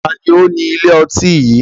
Taàní ó ní ilé ọtí yìí?